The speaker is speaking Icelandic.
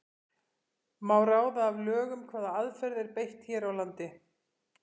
Má ráða af lögum hvaða aðferð er beitt hér á landi?